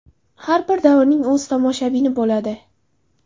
Har bir davrning o‘z tomoshabini bo‘ladi.